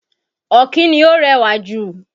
Ọ̀kín ni ó rẹwà ju.